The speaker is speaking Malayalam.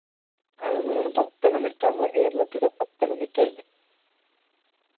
അത് നമ്മളെ പത്തനംതിട്ട നമ്മളെ കേരളത്തിലെ പത്തനംതിട്ട അല്ലെ